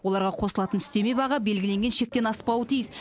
оларға қосылатын үстеме баға белгіленген шектен аспауы тиіс